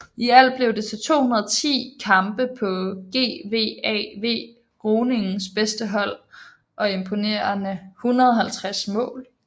I alt blev det til 210 kampe på GVAV Groningens bedste hold og imponerende 150 mål